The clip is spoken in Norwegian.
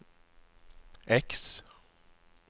X